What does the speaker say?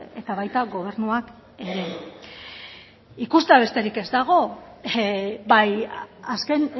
eta baita gobernuak ere ikustea besterik ez dago bai azken